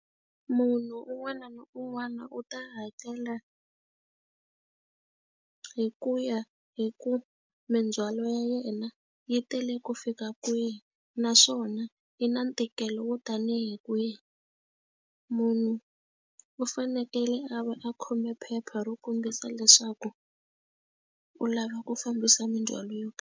Munhu un'wana na un'wana u ta hakela hi ku ya hi ku mindzhwalo ya yena yi tele ku fika kwihi, naswona na i na ntikelo wo tanihi kwihi. Munhu u fanekele a va a khome phepha ro kombisa leswaku u lava ku fambisa mindzhwalo yo karhi.